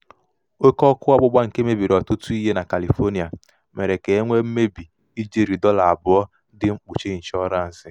oke ọkụ ọgbụgba nke mebiri ọtụtụ ihe na kalifonịa mere ka e nwee mmebi ijeri dọla abụọ dị mkpuchi nshọransị.